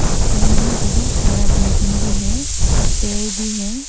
पीछे में बहुत सारा बिल्डिंग भी है पेड़ भी है।